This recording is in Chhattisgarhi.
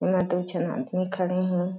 इहां दू झन आदमी खड़े हे।